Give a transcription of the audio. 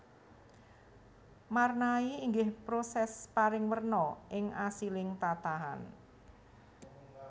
Marnai inggih proses paring werna ing asiling tatahan